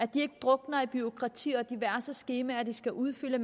de ikke drukner i bureaukrati og diverse skemaer de skal udfylde